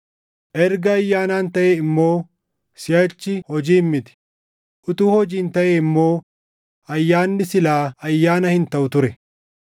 Erga ayyaanaan taʼe immoo siʼachi hojiin miti; utuu hojiin taʼee immoo ayyaanni silaa ayyaana hin taʼu ture.